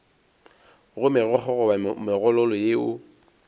go megokgo goba megololo yeo